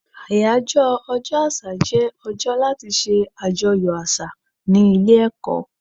Àyájọ́ ọjọ́ àṣà jẹ́ ọjọ́ láti ṣe àjọyọ̀ àṣà ní ilé ẹ̀kọ́.